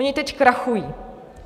Oni teď krachují.